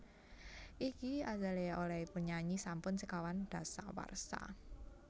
Iggy Azalea olehipun nyanyi sampun sekawan dasawarsa